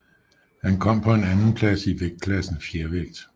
Han kom på en andenplads i vægtklassen fjervægt